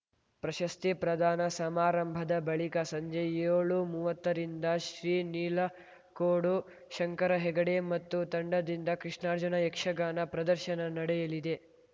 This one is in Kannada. ಪ್ರಶಸ್ತಿ ಪ್ರದಾನ ಸಮಾರಂಭದ ಬಳಿಕ ಸಂಜೆ ಯೋಳುಮೂವತ್ತರಿಂದ ಶ್ರೀ ನೀಲಕೋಡು ಶಂಕರ ಹೆಗಡೆ ಮತ್ತು ತಂಡದಿಂದ ಕೃಷ್ಣಾರ್ಜುನ ಯಕ್ಷಗಾನ ಪ್ರದರ್ಶನ ನಡೆಯಲಿದೆ